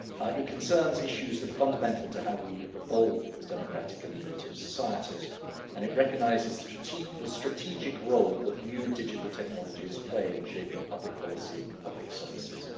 It concerns issues that are fundamental to how we evolve as democratic and innovative societies, and it recognises the strategic role that new digital technologies play in shaping public policy and public services.